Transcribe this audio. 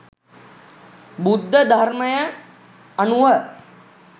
බුද්ධ ධර්මය අනුව